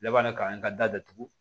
Labɛn ka n ka datugu